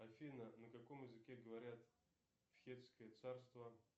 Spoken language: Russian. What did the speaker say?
афина на каком языке говорят в хеттское царство